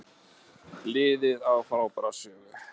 Liðið á frábæra sögu